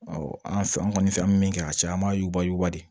an fɛ an kɔni fɛn an bɛ min kɛ a caya an b'a yuguba yuguba de